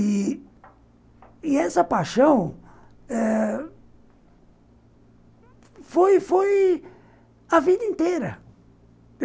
E e essa paixão eh foi foi a vida inteira.